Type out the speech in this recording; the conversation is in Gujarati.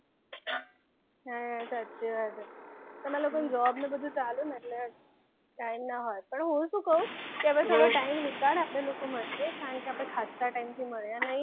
હા સાચી વાત હ તમાર લોકોન job ન બધું ચાલું એટલે time નાં હોય પણ હું શું કું આપડે થોડો time નીકાળ આપડે લોકો મળીએ કારણ કે આપએ ખાસા time મળ્યા નથી.